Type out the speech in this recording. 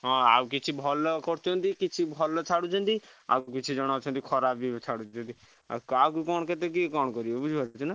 ହଁ ଆଉ କିଛି ଭଲ କରୁଛନ୍ତି କିଛି ଭଲ ଛାଡୁଛନ୍ତି ଆଉ କିଛି ଜଣ ଅଛନ୍ତି ଖରାପ ବି ଛାଡୁଛନ୍ତି ଆଉ କାହାକୁ କଣ କେତେ କିଏ କଣ କରିପାରିବ ବୁଝିପାରୁଛ ନାଁ?